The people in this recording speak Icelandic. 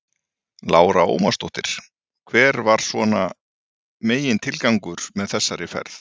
Lára Ómarsdóttir: Hver var svona megintilgangurinn með þessari ferð?